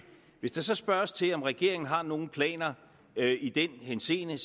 hvis der så spørges til om regeringen har nogen planer i den henseende